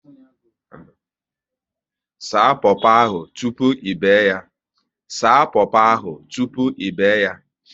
Saa popo ahụ tụpụ ị be yaa